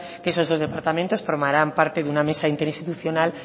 que esos dos departamentos formarán parte de una mesa interinstitucional